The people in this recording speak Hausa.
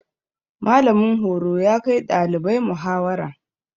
Mallamin horo ya kai ɗalibai muhawara.